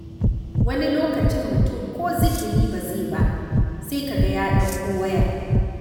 Wani lokaci mutum ko zikiri ba zai yi ba, sai ka ga ya ɗauko waya.